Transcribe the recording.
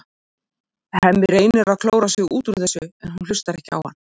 Hemmi reynir að klóra sig út úr þessu en hún hlustar ekki á hann.